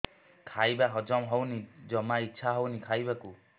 ଖାଇବା ହଜମ ହଉନି ଜମା ଇଛା ହଉନି ଖାଇବାକୁ